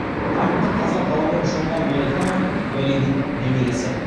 даңқты қазақ ғалымы шоқан уәлиханов уәлидің немересі